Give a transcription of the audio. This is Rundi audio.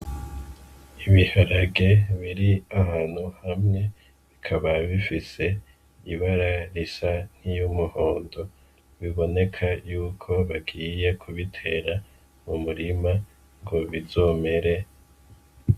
Ibiharage biri ahantu hamwe, bikaba bifise ibara risa n'iry'umuhondo. Biboneka y'uko bagiye kubitera mu murima ngo bizomere.